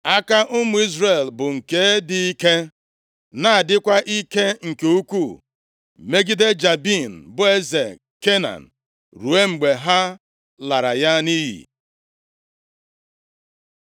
Aka ụmụ Izrel bụ nke dị ike na-adịkwa ike nke ukwu megide Jabin bụ eze Kenan ruo mgbe ha lara ya nʼiyi.